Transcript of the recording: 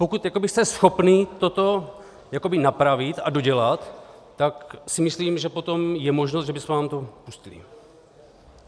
Pokud jste schopni toto napravit a dodělat, tak si myslím, že potom je možnost, že bychom vám to pustili.